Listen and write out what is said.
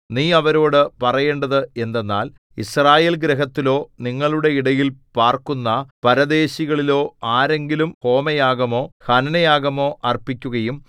നീ അവരോടു പറയേണ്ടത് എന്തെന്നാൽ യിസ്രായേൽഗൃഹത്തിലോ നിങ്ങളുടെ ഇടയിൽ പാർക്കുന്ന പരദേശികളിലോ ആരെങ്കിലും ഹോമയാഗമോ ഹനനയാഗമോ അർപ്പിക്കുകയും